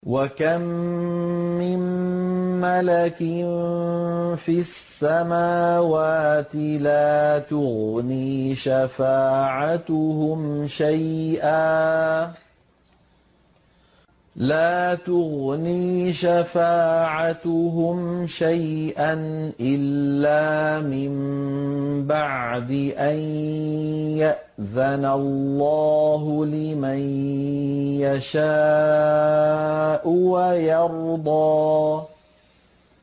۞ وَكَم مِّن مَّلَكٍ فِي السَّمَاوَاتِ لَا تُغْنِي شَفَاعَتُهُمْ شَيْئًا إِلَّا مِن بَعْدِ أَن يَأْذَنَ اللَّهُ لِمَن يَشَاءُ وَيَرْضَىٰ